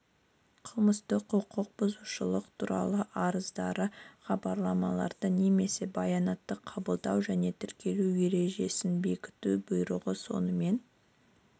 қылмыстық құқық бұзушылық туралы арыздарды хабарламаларды немесе баянатты қабылдау және тіркеу ережесін бекіту бұйрығы сонымен